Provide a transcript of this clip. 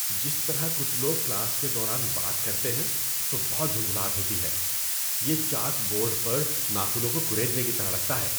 جس طرح کچھ لوگ کلاس کے دوران بات کرتے ہیں تو بہت جھنجھلاہٹ ہوتی ہے۔ یہ چاک بورڈ پر ناخنوں کو کریدنے کی طرح لگتا ہے۔